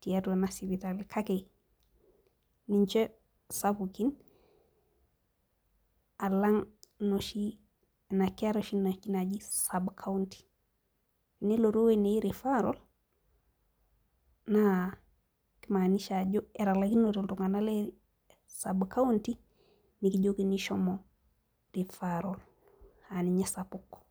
tiatua ena sipitali kake ninche sapukin alang' inoshi keetae oshi inaaji sub county. tenilotu ewueji neji referral naa kimaanisha ajo etalaikinote iltunganak le sub county nikijokini shomo referral aa ninye esapuk.